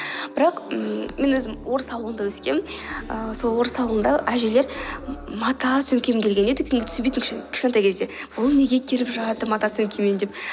бірақ ммм мен өзім орыс ауылында өскенмін ііі сол орыс ауылында әжелер мата сөмкемен келген еді дүкенге түсінбейтім кішкентай кезінде бұл неге келе жатыр мата сөмкемен деп